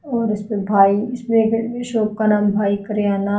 और इसपे भाई इसमें एक शॉप का नाम भाई करियाना--